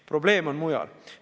Probleem on mujal.